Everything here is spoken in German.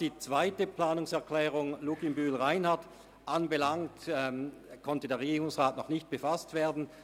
Mit der zweiten Planungserklärung Luginbühl/Reinhard konnte sich der Regierungsrat noch nicht befassen.